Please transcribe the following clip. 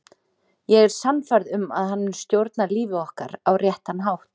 Ég er sannfærð um að hann mun stjórna lífi okkar á réttan hátt.